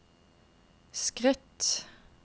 skritt